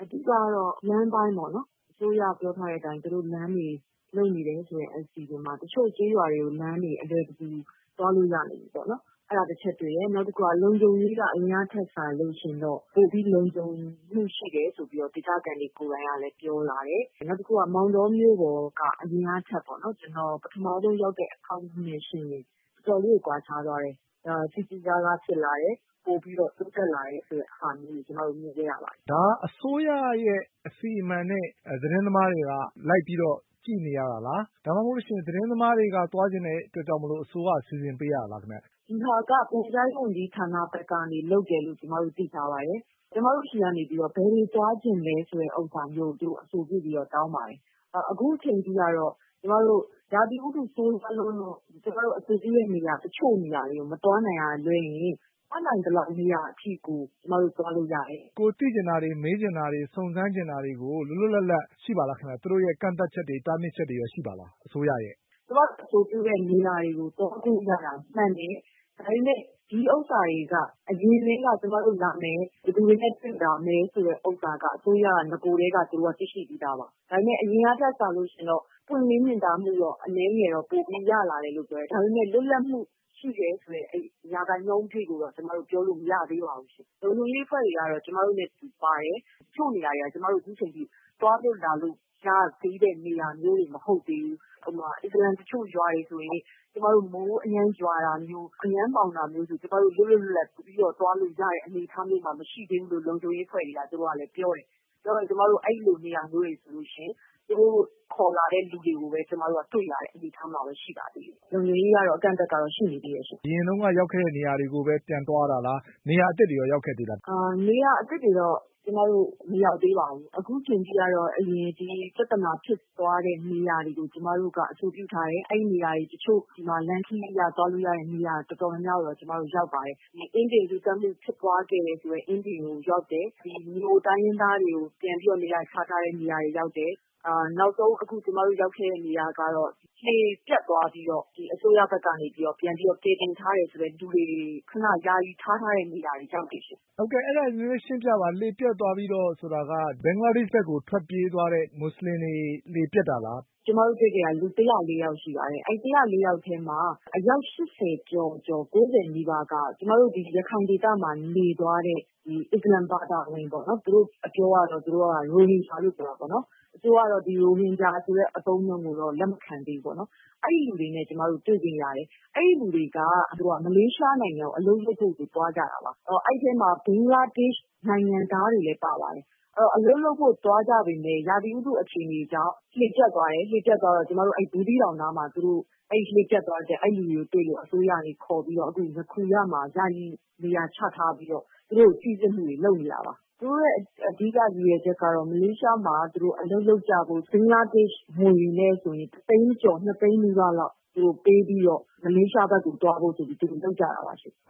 အဓိကတော့ လမ်းပိုင်းပေ့ါနော် အစိုးရပြောထားတဲ့အတိုင်း လမ်းပိုင်းတွေမှာ လုပ်နေတယ်ဆိုတဲ့အစီအစဉ်တွေမှာ တချို့ ကျေးရွာတွေမှာဆိုရင် အလွယ်တကူသွားလို့ရနေပြီပေါ့နော် ။ အဲဒါကတချက်တွေ့တယ်၊ လုံခြုံရေးကတော့ အရင်တုန်းကထက်စာရင်တော့ ပိုပြီးလုံခြုံမှုရှိတယ်ဆိုတာကို ဒေသခံတွေကလည်းပြောလာတယ် နောက်တခုက မောင်တောမြို့ကလည်း အရင်ကထက် ပထမဦးဆုံးရောက်တဲ့အခါနဲ့ ယှဉ်ရင် တော်တော်လေးကွာခြားသွားတယ် ။ စည်စည်ကားကားဖြစ်လာတယ်။ ပိုပြီးတော့ တိုးတက်လာတယ်ဆိုတဲ့ဟာမျိုးတွေကျနော်တို့ မြင်ခဲ့ရတယ်။ မေး။ ။ ဒါက အစိုးရရဲ့ အစီအမံနဲ့ သတင်းသမားတွေက လိုက်ပြီးတော့ ကြည့်နေရတာလား။ ဒါမှမဟုတ်ရင် သတင်းသမားတွေက သွားချင်တဲ့အတွက်ကြောင့်မို့လို့ အစိုးရက စီစဉ်ပေးရတာလားခင်ဗျ။ ဖြေ။။ ဒီဟာက ပြန်ကြားရေးဝန်ကြီးဌာနဘက်ကနေ လုပ်တယ်လို့ သိထားပါတယ်။ ကျမတို့ဆီက ဘယ်ကိုသွားချင်သလဲဆိုတာကို သူတို့တောင်းပါတယ်။ အခုအချိန်အထိကတော့ ကျမတို့ ရာသီဥတုဆိုးရွားလွန်းလို့ ကျမတို့ တချို့နေရာတွေကို မသွားနိုင်တာကလွဲရင် တတ်နိုင်သမျှအထိကို ကျမတို့ သွားလို့ရတယ်။ မေး။ ။ ကိုသိချင်တာတွေ မေးချင်တာတွေ ၊ စုံစမ်းချင်တာတွေ လွတ်လွတ်လပ်လပ်ရှိပါသလားခင်ဗျ။ သူတို့ရဲ့ ကန့်သတ်ချက်၊ တားမြစ်ချက်တွေရော ရှိပါသလားခင်ဗျ ။ ဖြေ။။ ကျမတို့ အဆိုပြုတဲ့နေရာတွေကို သွားခွင့်ရတာမှန်ပေမယ့် ဒီဟာတွေက အရင်ကျမတို့လာမယ်၊ ဘယ်သူတွေနဲ့ လာမယ်ဆိုတာတွေကို အစိုးရက နဂိုကတည်းက သိရှိပြီးသားပါ။ ဒါပေမယ့် အရင်တုန်းကထက်စာရင်တော့ ပွင့်လင်းမြင်သာမှုကတော့ အရင်တုန်းကထက်စာရင် ပိုပြီးရလာတယ် ဒါပေမယ့် လွတ်လပ်မှုရှိတယ်ဆိုတဲ့ ရာခိုင်နှုန်းအထိကိုတော့ ကျမတို့ ပြောလို့မရသေးပါဘူး။ လုံခြုံရေးအဖွဲ့တွေကတော့ ကျမတို့နဲ့အတူပါတယ်။ တချို့နေရာတွေက ကျမတို့ အခုအချိန်အထိ သွားလို့ရသေးတဲ့ နေရာမျိုးတွေ မဟုတ်သေးဘူး။ အစ္စလာမ် တချို့ရွာတွေဆိုရင် ကျမတို့ မိုးအရမ်းရွာတာမျိုးတို့ ၊ အရမ်းမှောင်တာမျိုးဆိုရင် ကျမတို့ လွတ်လွတ်လပ်လပ်သွားလို့နေရတဲ့ အနေအထားမျိုးမှာ မရှိသေးဘူးလို့ လုံခြုံရေးအဖွဲ့တွေကလည်း ပြောတယ်။ ပြောတော့ အဲဒီလိုနေရာမျိုးတွေဆိုရင် သူတို့ခေါ်လာတဲ့လူတွေကိုပဲ ကျမတို့ တွေ့ရတဲ့အနေအထားမျိုးမှာပဲ ရှိနေသေးတယ်။ လုံခြုံရေးကတော့ အကန့်အသတ်ကတော့ ရှိနေသေးတယ်ရှင့်။ မေး။ ။ အရင်တုန်းက ရောက်ခဲ့တဲ့နေရာတွေပဲ ပြန်သွားတာလား နေရာအသစ်တွေကိုရော ရောက်ခဲ့လား။ ဖြေ။။ နေရာအသစ်တွေကိုတော့ မရောက်သေးပါဘူး။ အခုအချိန်အထိတော့ ဒီပြဿနာ တွေဖြစ်သွားတဲ့နေရာတွေတော့ ကျမတို့ အဆိုပြုထားတယ်။ အဲဒီနေရာတွေ ဒီမှာလမ်းခရီးအရသွားလို့ရတဲ့နေရာတွေ တော်တော်များများကိုတော့ ရောက်ပါတယ်။ ဒီ အင်းဒင်လူသတ်မှုဖြစ်ပွားခဲ့တယ်ဆိုတဲ့ အင်းဒင်ရွာကိုရောက်တယ်။ နောက်ပြီးတော့ မြိုတိုင်းရင်းသားတွေကို ပြန်ပြီးတော့ နေရာချထားတဲ့နေရာတွေရောက်တယ်။ နောက်ဆုံးကျမတို့ ရောက်ခဲ့တဲ့နေရာကတော့ အစိုးရကနေပြန်ပြီးတော့ လှေပျက်သွားတော့ ကယ်တင်ထားတယ်ဆိုတဲ့လူတွေကို ခဏယာယီထားထားတဲ့ နေရာကိုရောက်တယ်။ မေး။ ။ အဲဒါ ရှင်းပြပါ လှေပျက်သွားတော့ဆိုတာက ဘင်္ဂလားဒေ့ရှ်ကို ထွက်ပြေးသွားတဲ့ မွတ်ဆလင်တွေ လှေပျက်တာလား ဖြေ။။ ကျမတို့ တွေ့တာ လူ ၁၀၄ ယောက်ရှိပါတယ်။ အဲဒီ ၁၀၄ ယောက်ထဲမှာ အယောက် ၈၀ ကျော်ကျော်နီးပါးက ကျမတို့ ဒီရခိုင်ဒေသမှာ နေသွားတဲ့ အစ္စလာမ်ဘာသာဝင်ပေါ့နော် ၊ သူတို့အပြောကတော့ ရိုဟင်ဂျာလို့ပြောတာပေါ့နော် ။ အစိုးရကတော့ ရိုဟင်ဂျာဆိုတဲ့ အသုံးအနှုန်းကိုတော့ လက်မခံသေးဘူး ပေါ့နော် အဲဒီလူတွေနဲ့ ကျမတို့ တွေ့ခွင့်ရတယ်။ အဲဒီလူတွေက မလေးရှားနိုင်ငံကို အလုပ်လုပ်ဖို့ဆိုပြီးတော့ သွားကြတာပါ။ အဲဒီထဲမှာ ဘင်္ဂလားဒေ့ရှ် နိုင်ငံသားတွေလည်းပါပါတယ်။ အဲဒီတော့ အဲလိုသွားကြပေမယ့် ရာသီဥတုအခြေအနေကြောင့် လှေပျက်သွားတယ် ။ လှေပျက်သွားတော့ ဘူးသီးတောင်မှာ အဲဒီလူတွေကို အစိုးရကနေခေါ်ပြီးတော့ ယာယီနေရာချထားပြီးတော့ သူတို့ကို စိစစ်ဖို့လုပ်နေတယ်။ သူတို့အဓိက ရည်ရွယ်ချက်ကတော့ မလေးရှားနိုင်ငံမှာ အလုပ်လုပ်ဖို့ ဘင်္ဂလားဒေ့ရှ် ငွေနဲ့ဆိုရင် ၁ သိန်းကျော်၊ ၂ သိန်းနီးပါးပေးပြီးတော့ မလေးရှားနိုင်ငံသွားဖို့လုပ်ကြတာပါ။ မေး။ ။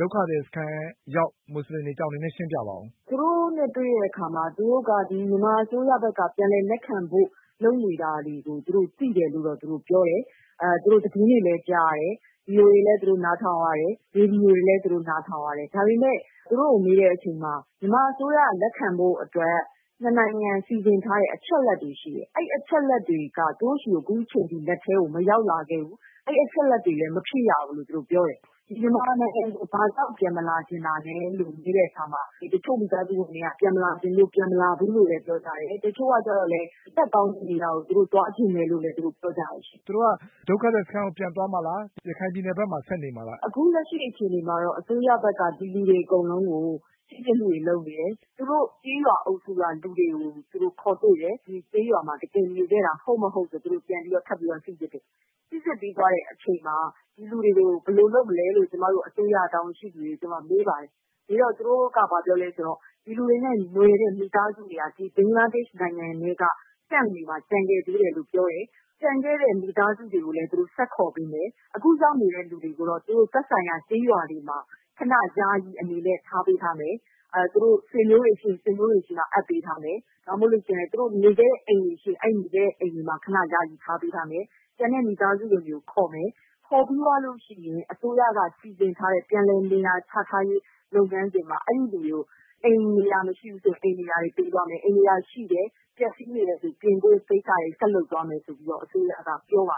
ဒုက္ခသည်စခန်းရောက် မွတ်ဆလင်တွေအကြောင်းနည်းနည်းရှင်းပြပါလား။ ဖြေ။။ သူတို့က မြန်မာအစိုးရက ပြန်လည်လက်ခံလုပ်နေတာတွေကို သူတို့သိတယ်လို့ ပြောတယ် သတင်းတွေလည်းကြားတယ်။ VOA နားထောင်ရတယ် ရေဒီယိုတွေလည်း နားထောင်ရတယ်။ ဒါပေမယ့် သူတို့ကို မေးတဲ့အချိန်မှာ မြန်မာအစိုးရက လက်ခံဖို့အတွက် ၂ နိုင်ငံ သဘောတူထားတဲ့အချက်အလက်တွေရှိတယ် အဲဒီအချက်အလက်တွေက အခုအထိ သူတို့လက်ထဲကို မရောက်လာသေးဘူး။ အဲဒီအချက်အလက်တွေလည်း သူတို့ မဖြည့်ရဘူးလို့ပြောတယ်။ မြန်မာနိုင်ငံကို ဘာကြောင့်ပြန်မလာချင်သလဲလို့ မေးတဲ့အခါမှာ တချို့ကတော့ ပြန်မလာချင်လို့ မလာဘူးလို့ပြောတယ်၊ တချို့ကတော့ ဒီထက်ကောင်းတဲ့ နေရာကိုသွားချင်တယ်လို့လဲပြောတယ်။ မေး။ ။သူတို့က ဒုက္ခသည်စခန်းကိုပြန်သွားမှာလား ရခိုင်ပြည်နယ်ဘက်မှာဆက်နေမှာလား ဖြေ။။ အခုလက်ရှိအခြေအနေကတော့ အစိုးရဘက်က ဒီလူတွေအကုန်လုံးကို စိစစ်နေတယ်။ သူတို့ ကျေးရွာကလူတွေကို ခေါ်တွေ့တယ်။ အရင်ကျေးရွာတွေမှာ နေခဲ့တာ ဟုတ်မဟုတ်ဆိုတာကို သူတို့ စိစစ်နေတယ်။ ပြီးသွားတဲ့အခါမှာ ဒီလူတွေကို ဘယ်လိုလုပ်မလဲဆိုတာကို ကျမတို့ အစိုးရ တာဝန်ရှိသူတွေကိုမေးပါတယ်။ သူတို့က ဘာပြောသလဲဆိုတော့ ဒီလူတွေနဲ့ နွယ်တဲ့မိသားစုတွေကနေပြီးတော့ ဒီဘင်္ဂလားနိုင်ငံထဲက Camp တွေမှာ ကျန်နေသေးတယ်လို့ပြောတယ်။ ကျန်တဲ့မိသားစုတွေကိုလည်း သူတို့ဆက်ပြီးခေါ်ပေးတယ်။ အခုရောက်နေတဲ့လူတွေကိုတော့ သူတို့ သက်ဆိုင်ရာ ကျေးရွာတွေမှာ ယာယီအနေနဲ့ ထားပေးထားမယ်။ သူတို့ ဆွေးမျိုးတွေရှိရင် ဆွေးမျိုးတွေမှာ အပ်ပေးထားမယ်။ ဒါမှမဟုတ်သူတို့ နေခဲ့တဲ့အိမ်တွေမှာ ယာယီထားပေးထားမယ်။ ကျန်မိသားစုဝင်တွေကိုခေါ်မယ်၊ ခေါ်ပြီးသွားရင် အစိုးရက စီစဉ်ထားတဲ့ ပြန်လည်နေရာချထားရေး လုပ်ငန်းစဉ်မှာ အဲဒီလူတွေကို အိမ်တွေရာတွေ မရှိဘူးဆိုရင် အိမ်တွေရာတွေပေးသွားမယ်၊ အိမ်တွေရာတွေရှိတယ် ပျက်စီးတာတွေရှိရင် ပြင်ဖို့ကိစ္စတွေကို ဆက်လုပ်သွားမယ်ဆိုပြီးတော့ အစိုးရက ပြောပါ